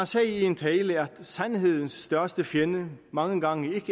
sagde i en tale at sandhedens største fjende mange gange ikke